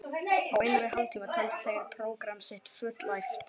Á innan við hálftíma töldu þeir prógramm sitt fullæft.